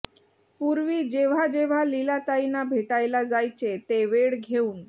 पूर्वी जेव्हा जेव्हा लीलाताईंना भेटायला जायचे ते वेळ घेवून